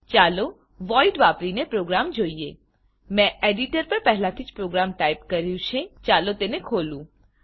ચાલો void void વાપરીને program જોઈએ મેં એડીટર પર પહેલાથી જ પ્રોગ્રામ ટાઈપ કર્યું છે ચાલો હું તેને ખોલું